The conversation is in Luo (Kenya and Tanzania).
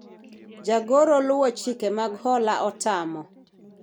jagoro luwo chike mag hola otamo